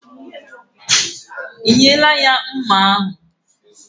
Ị nyela ya mma ahụ?